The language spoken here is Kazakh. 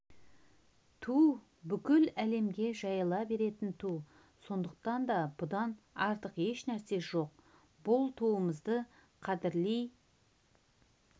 ту бүкіл әлемге жайыла беретін ту сондықтан да бұдан артық ешнәрсе жоқ бұл туымызды қадірлей